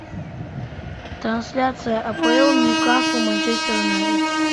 трансляция апл ньюкасл манчестер юнайтед